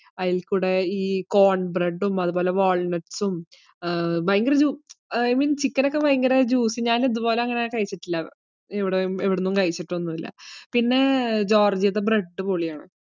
അതില്‍ കൂടെ കോണ്‍ബ്രഡും, അതുപോലെ വാള്‍നട്ട്സും, ഭയങ്കര i mean chicken ഭയങ്കര ഞാന്‍ അങ്ങനെ ഇതുപോലെ കഴിച്ചിട്ടില്ല. ഇവിടുന്നും കഴിച്ചിട്ടോന്നുമില്ല. പിന്നെ ജോര്‍ജിയയുടെ ബ്രഡ് പൊളിയാന്.